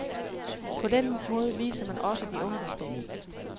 På den måde viser man også de unge respekt.